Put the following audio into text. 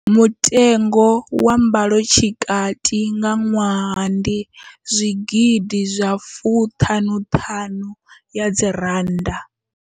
Mutengo wa mbalotshikati nga ṅwaha ndi R55 000.